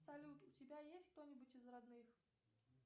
салют у тебя есть кто нибудь из родных